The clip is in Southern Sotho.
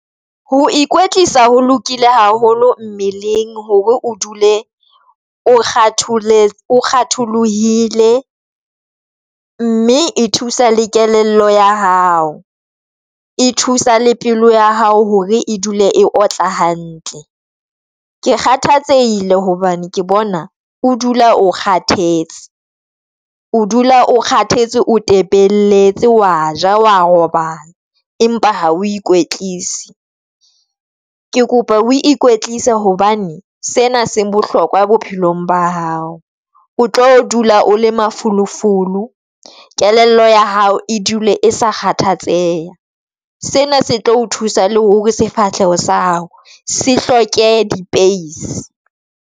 Ho ikwetlisa ho lokile haholo mmeleng hore o dule o kgatholohile, mme e thusa le kelello ya hao. E thusa le pelo ya hao hore e dule e otla hantle. Ke kgathatsehile hobane ke bona o dula o kgathetse, o dula o kgathetse o tepelletse, wa ja, wa robala empa ha o ikwetlise, ke kopa o ikwetlise hobane sena se bohlokwa bophelong ba hao, o tlo dula o le mafolofolo. Kelello ya hao e dule e sa kgathatseha. Sena se tlo o thusa le hore sefahleho sa hao se hloke di-pace.